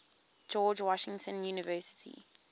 george washington university